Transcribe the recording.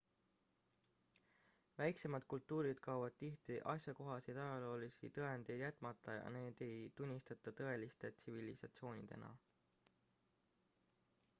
väiksemad kultuurid kaovad tihti asjakohaseid ajaloolisi tõendeid jätmata ja neid ei tunnustata tõeliste tsivilisatsioonidena